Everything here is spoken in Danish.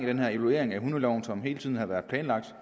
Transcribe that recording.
evaluering af hundeloven som hele tiden har været planlagt